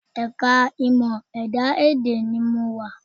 Ẹ̀ka ìmọ̀ ẹ̀dá-èdè ni mo wà